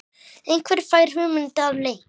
Einhver fær hugmynd að leik.